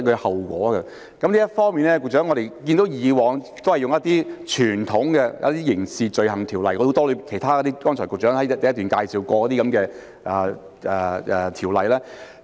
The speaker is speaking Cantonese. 就此，局長，我們看到以往也是引用較傳統的《刑事罪行條例》，以及局長剛才在主體答覆第一部分介紹過的其他很多條例。